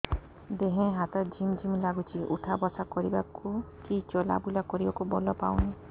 ଦେହେ ହାତ ଝିମ୍ ଝିମ୍ ଲାଗୁଚି ଉଠା ବସା କରିବାକୁ କି ଚଲା ବୁଲା କରିବାକୁ ବଳ ପାଉନି